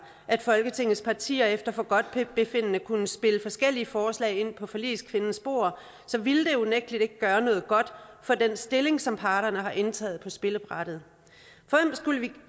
at folketingets partier efter forgodtbefindende kunne spille forskellige forslag ind på forligskvindens bord ville det unægtelig ikke gøre noget godt for den stilling som parterne har indtaget på spillebrættet